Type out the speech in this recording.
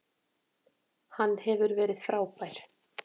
Hann hefur verið frábær.